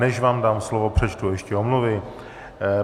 Než vám dám slovo, přečtu ještě omluvy.